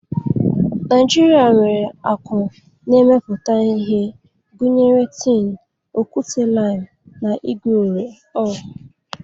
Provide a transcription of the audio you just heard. Naijirịa nwere akụ na-emepụta ihe gụnyere tin, okwute-lime, na igwe ore.